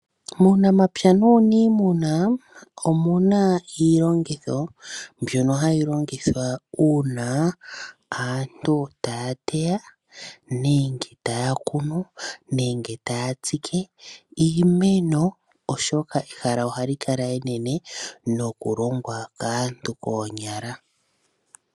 Muunamapya nuunimuna omuna iilongitho mbyoka hayi longithwa uuna aantu taya teya, nenge taya kunu ,nenge taya tsike iimeno oshoka ehala ohali kala enene noku longwa kaantu koonyala.